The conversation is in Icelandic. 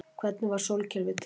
hvernig varð sólkerfið til